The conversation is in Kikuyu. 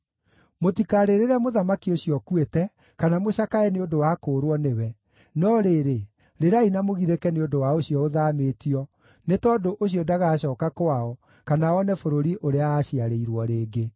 Mũtikarĩrĩre mũthamaki ũcio ũkuĩte, kana mũcakae nĩ ũndũ wa kũũrwo nĩwe; no rĩrĩ, rĩrai na mũgirĩke nĩ ũndũ wa ũcio ũthaamĩtio, nĩ tondũ, ũcio ndagacooka kwao, kana oone bũrũri ũrĩa aaciarĩirwo rĩngĩ.